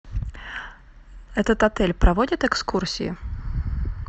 этот отель проводит экскурсии